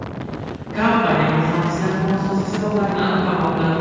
Kompaniya muhandislari nosozlik sabablarini aniqlamoqda.